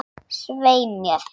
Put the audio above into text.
Svei mér.